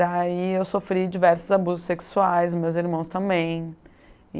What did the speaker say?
Daí eu sofri diversos abusos sexuais, meus irmãos também.